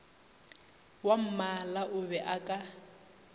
wwammala o be a ka